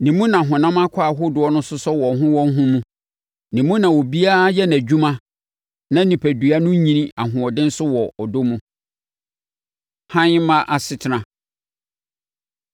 Ne mu na honam akwaa ahodoɔ no sosɔ wɔn ho wɔn ho mu. Ne mu na obiara yɛ nʼadwuma na onipadua no nyini ahoɔden so wɔ ɔdɔ mu. Hann Mma Asetena